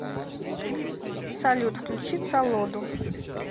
салют включи цолоду